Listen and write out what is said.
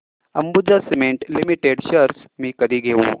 Ambuja cement limited shares मी कधी घेऊ